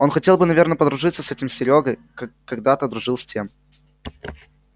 он хотел бы наверное подружиться с этим серёгой как когда-то дружил с тем